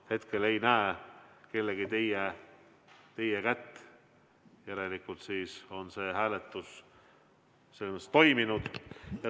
Ma hetkel ei näe kellegi teie kätt, järelikult on see hääletus toimunud.